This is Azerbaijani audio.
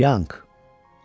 Çianq.